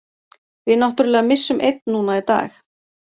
Við náttúrulega missum einn núna í dag.